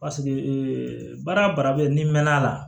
Paseke baara o baara bɛ n'i mɛn'a la